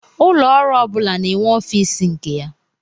Ụlọ ọrụ ọbula na-enwe office nke ya.